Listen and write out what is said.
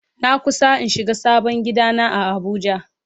Na kusa in shiga sabon gida na a abuja.